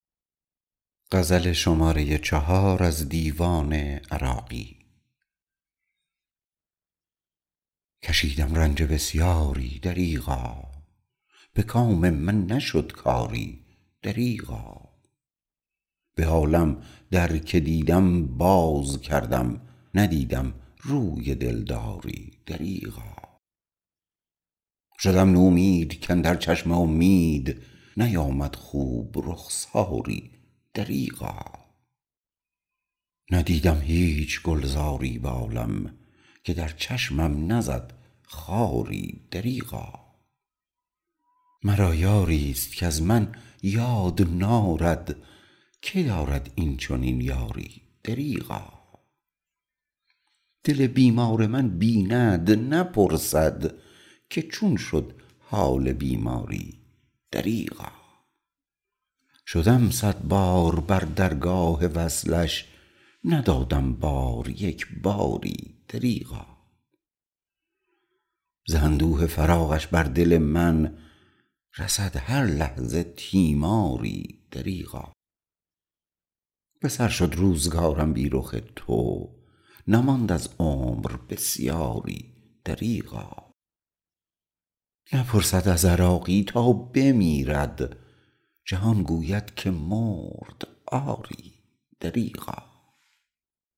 کشیدم رنج بسیاری دریغا به کام من نشد کاری دریغا به عالم در که دیدم باز کردم ندیدم روی دلداری دریغا شدم نومید کاندر چشم امید نیامد خوب رخساری دریغا ندیدم هیچ گلزاری به عالم که در چشمم نزد خاری دریغا مرا یاری است کز من یاد نارد که دارد این چنین یاری دریغا دل بیمار من بیند نپرسد که چون شد حال بیماری دریغا شدم صدبار بر درگاه وصلش ندادم بار یک باری دریغا ز اندوه فراقش بر دل من رسد هر لحظه تیماری دریغا به سر شد روزگارم بی رخ تو نماند از عمر بسیاری دریغا نپرسد از عراقی تا بمیرد جهان گوید که مرد آری دریغا